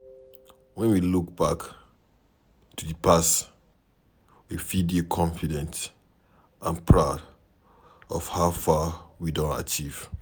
When we look back to di past we fit dey confident and proud of how far we don achieve